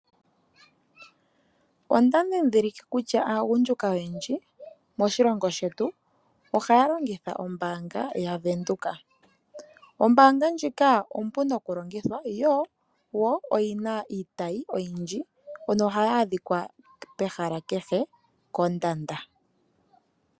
Ondadhindhilike kutya aagundjuka oyendji moshilongo shetu ohaya longitha ombaanga ya Venduka. Ombaanga ndjika ompu nokulongothwa yo woo oyina iitayi oyindji nohayi adhika pehala kehe oondanda.